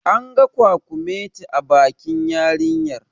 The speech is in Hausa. An ga kwakumeti a bakin yarinyar